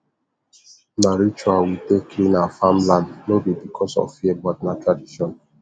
na ritual we take clean our farmland no be because of fear but na tradition